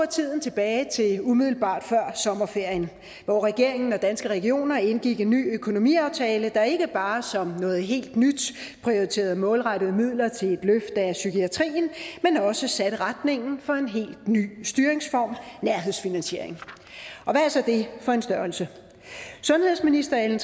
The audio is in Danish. tiden tilbage til umiddelbart før sommerferien hvor regeringen og danske regioner indgik en ny økonomiaftale der ikke bare som noget helt nyt prioriterede målrettede midler til et løft af psykiatrien men også satte retningen for en helt ny styringsform nærhedsfinansiering og hvad er så det for en størrelse sundhedsministeren